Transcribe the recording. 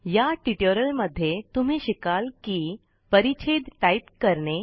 या टयुटोरियल मध्ये तुम्ही शिकाल की परिच्छेद टाइप करने